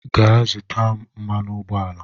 Gaa zụta m mmanụ ụgbọala